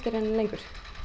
lengur